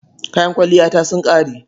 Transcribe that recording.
Kayan kwalliyata sun ƙare.